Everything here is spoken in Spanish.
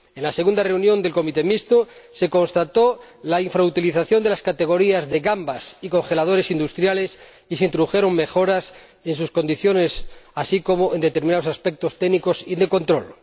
En la segunda reunión del comité mixto, se constató la infrautilización de las categorías de gambas y congeladores industriales y se introdujeron mejoras en sus condiciones, así como en determinados aspectos técnicos y de control.